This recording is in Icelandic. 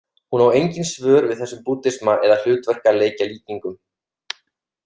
Hún á engin svör við þessum búddisma eða hlutverkaleikjalíkingum.